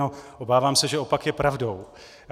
No, obávám se, že opak je pravdou.